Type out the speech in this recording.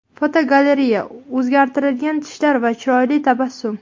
Fotogalereya: O‘zgartirilgan tishlar va chiroyli tabassum.